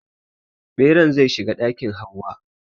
Ɓeran zai shiga ɗakin Hauwa.